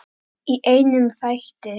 Í einum þætti!